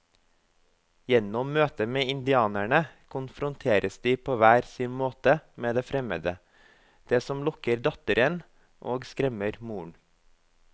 Gjennom møtet med indianerne konfronteres de på hver sin måte med det fremmede, det som lokker datteren og skremmer moren.